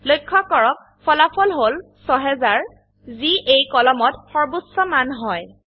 লক্ষ্য কৰক ফলাফল হল ৬০০০ যি এই কলমত সৰ্বোচ্চ মান হয়